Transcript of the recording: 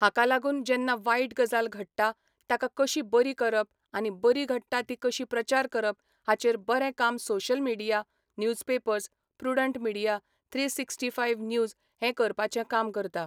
हाका लागून जेन्ना वायट गजाल घडटा, ताका कशी बरी करप आनी बरी घडटा ती कशी प्रचार करप हाचेर बरें काम social media, newspapers, Prudent Media, three sixty five news हें करपाचें काम करता.